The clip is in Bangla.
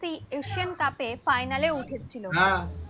এশিয়ান কাপ ফাইনালে উঠেছিল